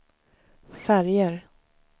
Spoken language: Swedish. färger